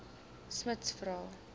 smuts vra